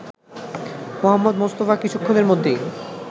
মুহম্মদ মুস্তাফা কিছুক্ষণের মধ্যেই